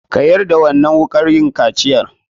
Ka zubar da jini lokacin da aka maka kaciya!